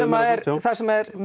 það sem